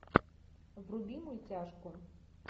вруби мультяшку